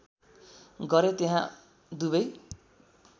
गरे त्यहाँ दुबै